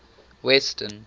western